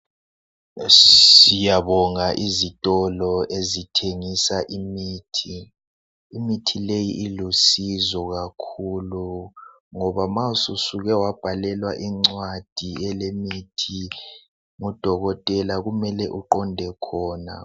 Siyabonga izitolo ezithengisa imithi. Imithi leyi ilusizo kakhulu ngoba ma susuke wabhalelwa incwadi elemithi ngudokotela kumele uqonde khona